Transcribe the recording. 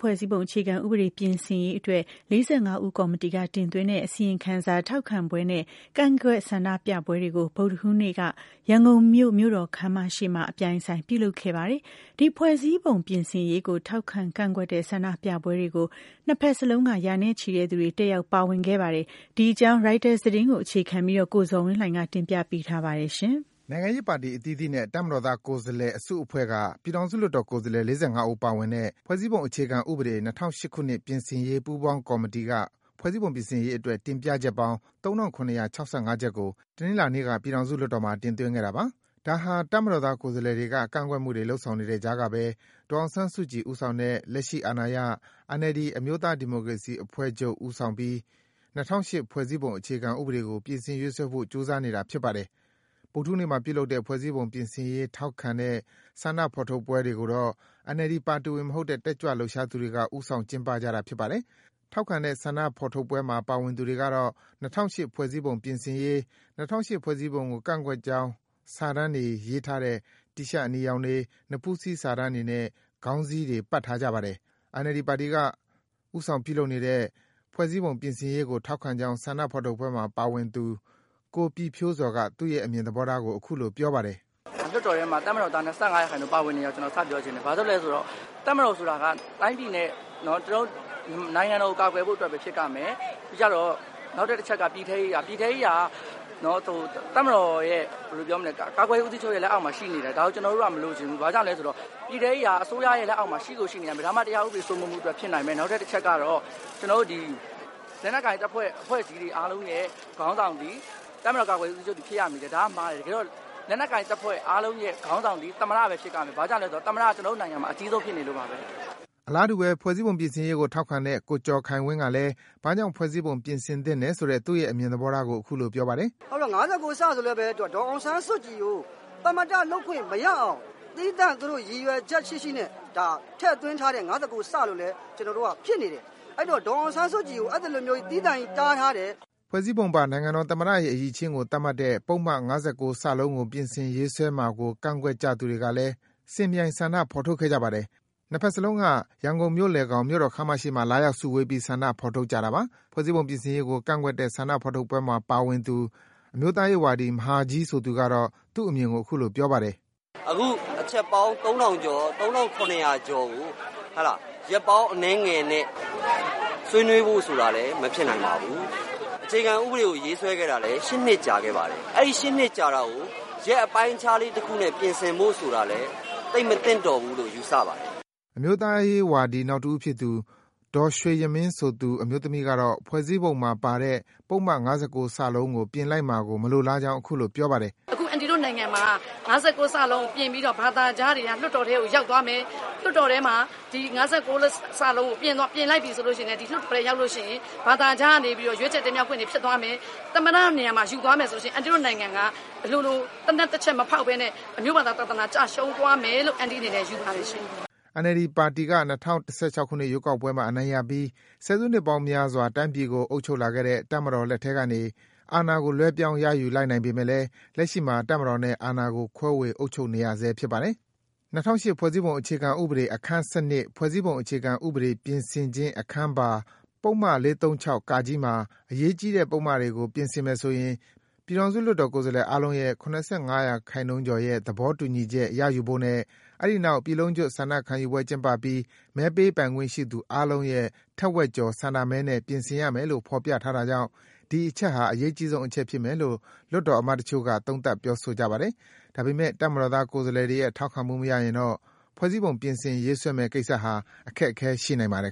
ဖွဲ့စည်းပုံ အခြေခံဥပဒေ ပြင်ဆင်ရေးအတွက် ၄၅ ဦးကော်မတီက တင်သွင်းတဲ့ အစီရင်ခံစာ ထောက်ခံပွဲနဲ့ ကန့်ကွက် ဆန္ဒပြပွဲတွေကို ဗုဒ္ဓဟူးနေ့မှာ ရန်ကုန်မြို့၊ မြို့တော်ခမ်းမရှေ့မှာ အပြိုင်အဆိုင် ပြုလုပ်ခဲ့ကြပါတယ်။ ဒီ ဖွဲ့စည်းပုံ ပြင်ဆင်ရေးကို ထောက်ခံ၊ ကန့်ကွက်တဲ့ ဆန္ဒပြပွဲတွေကို ၂ ဘက်စလုံးက ရာနဲ့ချီတဲ့သူတွေ တက်ရောက် ပါဝင်ခဲ့ကြပါတယ်။ ဒီအကြောင်း ရိုက်တာသတင်းကို အခြေခံပြီး ကိုဇော်ဝင်းလှိုင်က တင်ပြပေးပါမယ်။ နိုင်ငံရေးပါတီ အသီးသီးနဲ့ တပ်မတော်သား လွှတ်တော်ကိုယ်စားလှယ်အစုအဖွဲ့က ပြည်ထောင်စုလွှတ်တော်ကိုယ်စားလှယ် ၄၅ ဦးပါဝင်တဲ့ ဖွဲ့စည်းပုံအခြေခံဥပဒေ ပြင်ဆင်ရေး ပူးပေါင်းကော်မတီက ဖွဲ့စည်းပုံပြင်ဆင်ရေးအတွက် တင်ပြချက်ပေါင်း ၃,၇၆၅ ချက်ကို တနင်္လာနေ့က ပြည်ထောင်စုလွှတ်တော်မှာ တင်သွင်းခဲ့တာပါ။ ဒါဟာ တပ်မတော်သား ကိုယ်စားလှယ်တွေက ကန့်ကွက်မှုတွေ လုပ်ဆောင်နေတဲ့ကြားကဘဲ ဒေါ်အောင်ဆန်းစုကြည်ဦးဆောင်တဲ့ လက်ရှိအာဏာရ NLD အမျိုးသား ဒီမိုကရေစီအဖွဲ့ချုပ် ပါတီက ဦးဆောင်ပြီး ၂၀၀၈ ဖွဲ့စည်းပုံအခြေခံဥပဒေကို ပြင်ဆင် ရေးဆွဲဖို့ ကြိုးစားနေတာ ဖြစ်ပါတယ်။ ဗုဒ္ဓဟူးနေ့မှာ ပြုလုပ်တဲ့ ဖွဲ့စည်းပုံပြင်ဆင်ရေး ထောက်ခံတဲ့ ဆန္ဒဖော်ထုတ်ပွဲတွေကိုတော့ NLD ပါတီဝင်မဟုတ်တဲ့ တက်ကြွလှုပ်ရှားသူတွေက ဦးဆောင် ကျင်းပကြတာဖြစ်ပါတယ်။ ထောက်ခံတဲ့ ဆန္ဒဖော်ထုတ်ပွဲမှာ ပါဝင်သူတွေကတော့ ၂၀၀၈ ဖွဲ့စည်းပုံ ပြင်ဆင်ရေး၊ ၂၀၀၈ ဖွဲ့စည်းပုံကို ကန့်ကွက်ကြောင်း စာတန်းတွေ ရေးထားတဲ့ တီရှပ်အနီရောင်တွေ၊ နဖူးစည်း စာတန်းတွေနဲ့ ခေါင်းစည်းတွေ ပတ်ထားကြပါတယ်။ NLD ပါတီက ဦးဆောင်ပြုလုပ်နေတဲ့ ဖွဲ့စည်းပုံပြင်ဆင်ရေးကို ထောက်ခံကြောင်း ဆန္ဒဖော်ထုတ်ပွဲမှာ ပါဝင်သူ ကိုပြည့်ဖြိုးဇော်က သူ့ရဲ့ အမြင်သဘောထားကို အခုလို ပြောပါတယ်။ “ လွှတ်တော်ထဲမှာ တပ်မတော်သား ၂၅ ရာခိုင်နှှုန်းပါဝင်နေတာကို စပြောချင်တယ် ဘာကြောင့်လဲ ဆိုတော့ တပ်မတော်ဆိုတာက တိုင်းပြည်နဲ့ နိုင်ငံတော်ကို ကာကွယ်ဖို့အတွက်ပဲ ဖြစ်ရမယ် နောက်တခုကတော့ ပြည်ထဲရေးက တပ်မတော်ရဲ့ ကာကွယ်ရေးဦးစီးချုပ်ရဲ့ လက်အောက်မှာရှိနေတယ် ဒါကို ကျနော်တို့က မလိုချင်ဘူး ဘာကြောင့်လဲဆိုတော့ ပြည်ထဲရေးက အစိုးရရဲ့ လက်အောက် မှာ ရှိကိုရှိနေရမယ် ဒါမှ တရားဥပဒေစိုးမိုးမှုအတွက် ဖြစ်နိုင်မယ်။ နောက်တချက်ကတော့ လက်နက်ကိုင်တပ်ဖွဲ့ အဖွဲ့အစည်းတွေအားလုံးခေါင်းဆောင်သည် တပ်မတော် ကာကွယ်ရေးဦးစီးချုပ်ဖြစ်ရမယ် ဆိုတာက မှားတယ်။ တကယ်တော့ လက်နက်ကိုင်တပ်ဖွဲ့ အားလုံးခေါင်းဆောင်သည် သမ္မတပဲ ဖြစ်ရမယ် ဘာကြောင့်လဲဆိုတော့ သမ္မတက ကျနော်တို့ နိုင်ငံမှာ အကြီးဆုံးဖြစ်နေလို့ပါ။” အလားတူဘဲ ဖွဲ့စည်းပုံပြင်ဆင်ရေးကို ထောက်ခံတဲ့ ကိုကျော်ခိုင်ဝင်းကလည်း ဘာကြောင့် ဖွဲ့စည်းပုံပြင်ဆင်သင့်တယ်ဆိုတဲ့ သူရဲ့ အမြင်သဘောထားကို အခုလို ပြောပါတယ်။ “ဘာကြောင့်လဲဆိုတော့ ၅၉ ဆိုရင်လည်း ဒေါ်အောင်ဆန်းစုကြည်ကို သမ္မတ လုပ်ခွင့်မရအောင် သီးသန့် သူတို့ ရည်ရွယ်ချက်ရှိရှိနဲ့ ထည့်သွင်းထားတဲ့ ၅၉ ဆိုပြီးတော့ ဖြစ်နေတယ်။ ဒေါ်အောင်ဆန်းစုကြည်ကိုအဲလိုမျိုး သီးသန့်ကြီး တားထားတယ်။” ဖွဲ့စည်းပုံပါ နိုင်ငံတော်သမ္မတရဲ့ အရည်အချင်းကို သတ်မှတ်တဲ့ ပုဒ်မ ၅၉ ကို ပြင်ဆင်ရေးဆွဲမှာကို ကန့်ကွက်ကြသူတွေကလည်း စင်ပြိုင် ဆန္ဒဖော်ထုတ်ခဲ့ကြပါတယ်။ နှစ်ဘက်စလုံးက ရန်ကုန်မြို့လယ်ခေါင် မြို့တော်ခမ်းမရှေ့မှာ လာရောက်စုဝေးပြီး ဆန္ဒဖော်ထုတ်ကြတာပါ။ ဖွဲ့စည်းပုံပြင်ဆင်ရေးကို ကန့်ကွက်တဲ့ဆန္ဒဖော်ထုတ်ပွဲမှာ ပါဝင်သူ အမျိုးသားရေးဝါဒီ မဟာကြီးဆိုသူကတော့ သူ့အမြင်ကို အခုလို ပြောပါတယ်။ “အခု အချက်ပေါင်း ၃၇၀၀ ကျော်ကို ရက်ပေါင်းအနည်းငယ်နဲ့ ဆွေးနွေးဖို့ဆိုတာလည်း မဖြစ်နိုင်ပါဘူး။ အခြေခံဥပဒေကို ရေးဆွဲခဲ့တာလည်း ၈ နှစ်ကြာခဲ့ပါပြီ။ ၈ နှစ်ကြာတာကို ရက်အပိုင်းအခြားလေး တခုနဲ့ ပြင်ဆင်ဖို့ဆိုတာလည်း သိပ်မသင့်တော်ဘူးလို့ ယူဆပါတယ်။” အမျိုးသားရေးဝါဒီ နောက်တဦးဖြစ်သူ ဒေါ်ရွေ့ယမင်းဆိုသူ အမျိုးသမီးကတော့ ဖွဲ့စည်းပုံမှာပါတဲ့ ပုဒ်မ ၅၉ ကို ပြင်လိုက်မှာကို မလိုလားကြောင်း အခုလို ပြောပါတယ်။ "အခု အန်တီတို့နိုင်ငံမှာ ၅၉ ကို ပြင်ပြီးတော့ ဘာသာခြားတွေက လွှတ်တော်ထဲကို ရောက်သွားမယ်။ လွှတ်တော်ထဲမှာ ၅၉ ကို ပြင်လိုက်ပြီဆိုရင် ဒီလွှတ်တော်ထဲရောက်ရင် ဘာသာခြားကနေပြီးတော့ ရွေးချယ် တင်မြှောက်ခွင့်တွေ ဖြစ်သွားမယ်။ သမ္မတ နေရာကိုပါ ယူသွားမယ်ဆိုရင် အန်တီတို့နိုင်ငံက အလိုလို သေနတ်တချက်မဖောက်ပဲနဲ့ အမျိုးဘာသာသာသနာ ကျဆုံးသွားမယ်လို့ အန်တီ့အနေနဲ့ ယူဆပါတယ်ရှင့်။” NLD ပါတီက ၂၀၁၆ ရွေးကောက်ပွဲမှာ အနိုင်ရပြီး ဆယ်စုနှစ်ပေါင်းများစွာ တိုင်းပြည်ကို အုပ်ချုပ်လာခဲ့တဲ့ တပ်မတော်လက်ထဲကနေ အာဏာကို လွဲပြောင်း ရယူလိုက်နိုင်ပေမယ့်လည်း လက်ရှိမှာ တပ်မတော်နဲ့ အာဏာကို ခွဲဝေအုပ်ချုပ်နေရဆဲ ဖြစ်ပါတယ်။ ၂၀၀၈ ဖွဲ့စည်းပုံအခြေခံဥပဒေ အခန်း ၁၂ ဖွဲ့စည်းပုံအခြေခံဥပဒေ ပြင်ဆင်ခြင်းအခန်းပါ ပုဒ်မ ၄၃၆ မှာ အရေးကြီးတဲ့ ပုဒ်မတွေကို ပြင်ဆင်မယ်ဆိုရင် ပြည်ထောင်စုလွှတ်တော် ကိုယ်စားလှယ် အားလုံးရဲ့ ၇၅ရာခိုင်နှုန်းကျော်ရဲ့ သဘောတူညီချက် ရယူဖို့နဲ့ အဲဒီနောက် ပြည်လုံးကျွတ် ဆန္ဒခံယူပွဲကျင်းပပြီး မဲပေးပိုင်ခွင့်ရှိသူအားလုံးရဲ့ ထက်ဝက်ကျော် ဆန္ဒမဲနဲ့ပြင်ဆင်ရမယ်လို့ ဖော်ပြထားတာကြောင့် ဒီအချက်ဟာ အရေးအကြီးဆုံးအချက်ဖြစ်မယ်လို့ လွှတ်တော်အမတ်တချို့က သုံးသပ် ပြောဆိုကြပါတယ်။ ဒါပေမယ့် တပ်မတော်သားကိုယ်စားလှယ်တွေရဲ့ ထောက်ခံမှုမရရင်တော့ ဖွဲ့စည်းပုံပြင်ဆင် ရေးဆွဲမယ့်ကိစ္စဟာ အခက်အခဲ ရှိနိုင်ပါတယ်